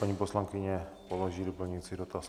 Paní poslankyně položí doplňující dotaz.